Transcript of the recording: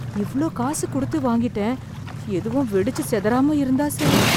இவ்வளவு காசு கொடுத்து வாங்கிட்டேன். எதுவும் வெடிச்சு செதறாம இருந்தா சரி.